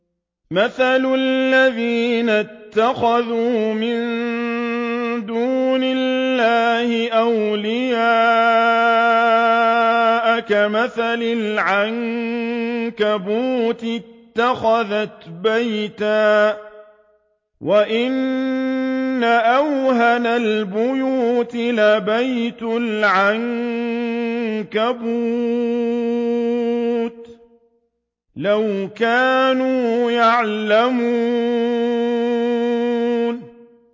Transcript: مَثَلُ الَّذِينَ اتَّخَذُوا مِن دُونِ اللَّهِ أَوْلِيَاءَ كَمَثَلِ الْعَنكَبُوتِ اتَّخَذَتْ بَيْتًا ۖ وَإِنَّ أَوْهَنَ الْبُيُوتِ لَبَيْتُ الْعَنكَبُوتِ ۖ لَوْ كَانُوا يَعْلَمُونَ